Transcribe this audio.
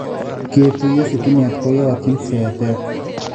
Ketuiyo sitimeet koyotyin seetet